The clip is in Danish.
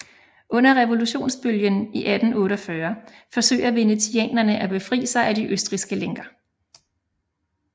Under revolutionsbølgen i 1848 forsøger venetianerne at befri sig af de østrigske lænker